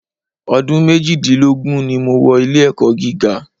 Ọdún méjìdínlógún ni mo wọ ilé-ẹ̀kọ́ gíga.